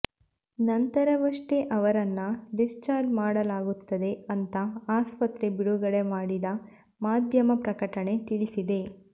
ನಂತರವಷ್ಟೇ ಅವರನ್ನ ಡಿಸ್ಚಾರ್ಜ್ ಮಾಡಲಾಗುತ್ತೆ ಅಂತ ಆಸ್ಪತ್ರೆ ಬಿಡುಗಡೆ ಮಾಡಿದ ಮಾಧ್ಯಮ ಪ್ರಕಟಣೆ ತಿಳಿಸಿದೆ